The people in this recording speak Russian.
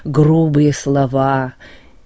грубые слова